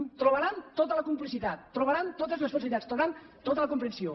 hi trobaran tota la complicitat hi trobaran totes les facilitats hi trobaran tota la comprensió